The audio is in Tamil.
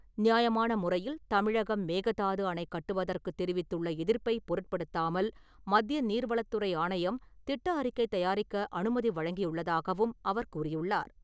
நியாயமான முறையில் தமிழகம் மேகதாது அணை கட்டுவதற்கு தெரிவித்துள்ள எதிர்ப்பை பொருட்படுத்தாமல் மத்திய நீர்வளத்துறை ஆணையம் திட்ட அறிக்கை தயாரிக்க அனுமதி வழங்கியுள்ளதாகவும் அவர் கூறியுள்ளார்.